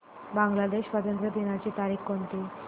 बांग्लादेश स्वातंत्र्य दिनाची तारीख कोणती